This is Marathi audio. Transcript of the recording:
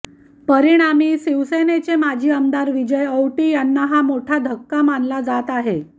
परिणामी शिवसेनेचे माजी आमदार विजय औटी यांना हा मोठा धक्का मानला जात आहे